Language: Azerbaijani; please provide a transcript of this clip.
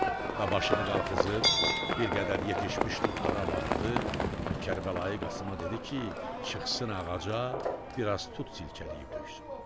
Və başını qalxızıb, bir qədər yetişmiş tutlara baxdı və Kərbəlayi Qasıma dedi ki, çıxsın ağaca, biraz tut silkələyib töksün.